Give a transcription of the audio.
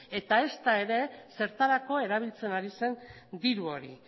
eta ezta ere zertako erabiltzen ari zen diru hori